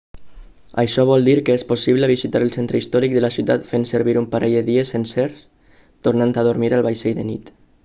això vol dir que és possible visitar el centre històric de la ciutat fent servir un parell de dies sencers tornant a dormir al vaixell de nit